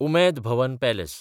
Umaid Bhawan palace